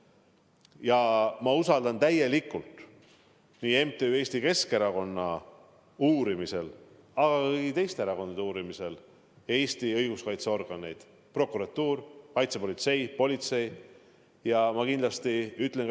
Ja ma usaldan täielikult nii MTÜ Eesti Keskerakond uurimisel kui ka kõigi teiste erakondade uurimisel Eesti õiguskaitseorganeid – prokuratuuri, kaitsepolitseid, üldse politseid.